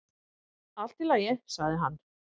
"""Allt í lagi, sagði hann."""